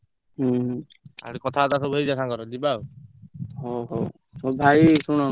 ଓହୋ ହଉ ଭାଇ ଶୁଣ ମୁଁ ରଖୁଛି ଟିକେ marketing କରିତେ ଯିବି ସବୁ ଜିନିଷ ଆଣିତେ ମୁଁ ରଖୁଛି ଆଁ।